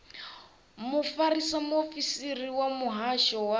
mufarisa muofisiri wa muhasho wa